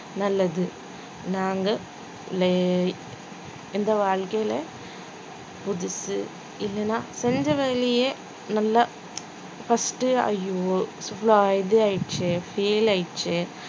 நல்லது நாங்க இந்த வாழ்க்கையில புதுசு இல்லைன்னா தெரிஞ்ச வேலையே நல்லா first ஐயோ இது ஆயிடுச்சே fail ஆயிருச்சே